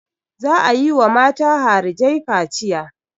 Za a yi wa mata harijai kaciya.